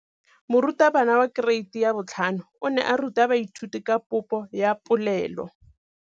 Moratabana wa kereiti ya 5 o ne a ruta baithuti ka popô ya polelô.